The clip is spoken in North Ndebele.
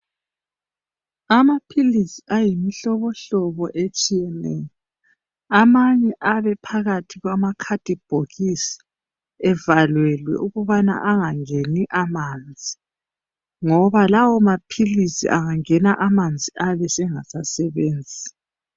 Amaphilisi ayimihlobohlobo etshiyeneyo, amanye ayabe ephakathi kwamakhadibhokisi evalelwe ukubana angangeni amanzi ngoba lawo maphilizi angangena amanzi ayabe engasasebenzi.